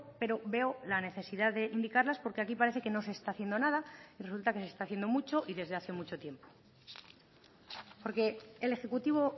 pero veo la necesidad de indicarlas porque aquí parece que no se está haciendo nada y resulta que se está haciendo mucho y desde hace mucho tiempo porque el ejecutivo